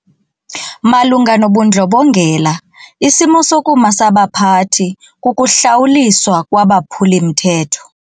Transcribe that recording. Malunga nobundlobongela isimo sokuma sabaphathi kukuhlawuliswa kwabaphuli-mthetho.